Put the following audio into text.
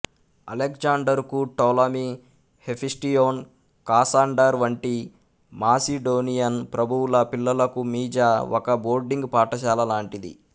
అలెగ్జాండరుకు Ptolemy Hephaestion Cassander వంటి Macedonian ప్రభువుల పిల్లలకూ మీజా ఒక బోర్డింగ్ పాఠశాల లాంటిది